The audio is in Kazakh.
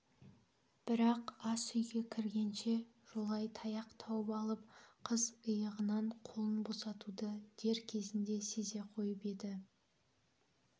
бірақ асүйге кіргенше жолай таяқ тауып алып қыз иығынан қолын босатуды дер кезінде сезе қойып еді